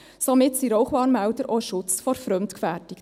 Somit seien Rauchwarnmelder auch ein Schutz vor Fremdgefährdung.